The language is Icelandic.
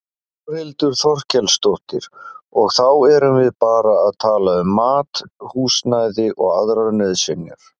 Þórhildur Þorkelsdóttir: Og þá erum við bara að tala um mat, húsnæði og aðrar nauðsynjar?